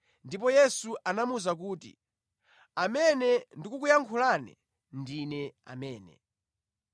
Ndipo Yesu anamuwuza kuti, “Amene ndikukuyankhulane, ndine amene.”